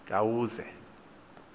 kayuze